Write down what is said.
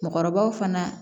Mɔgɔkɔrɔbaw fana